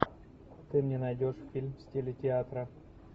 ты мне найдешь фильм в стиле театра